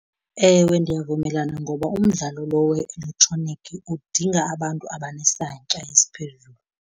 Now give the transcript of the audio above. Ewe, ndiyavumelana ngoba umdlalo lo we-elektronikhi udinga abantu abanesantya esiphezulu.